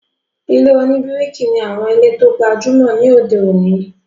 Ilé-oníbíríkì ní àwọn ilé tó gbajúmọ̀ ní òde òní